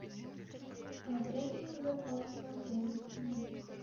трекинговые палки в отеле цена